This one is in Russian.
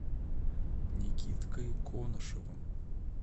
никиткой конышевым